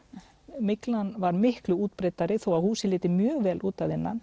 myglan var miklu útbreiddari þó húsið liti mjög vel út að innan